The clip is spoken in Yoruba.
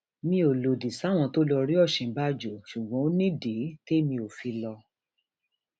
mi ò lòdì sáwọn tó lọọ rí òsínbàjò ṣùgbọn ó nídìí témi ò fi lọ